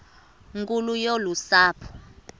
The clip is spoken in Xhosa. nkulu yolu sapho